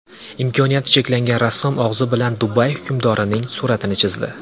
Imkoniyati cheklangan rassom og‘zi bilan Dubay hukmdorining suratini chizdi .